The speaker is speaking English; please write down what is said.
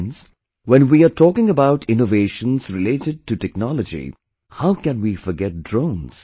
Friends, when we are talking about innovations related to technology, how can we forget drones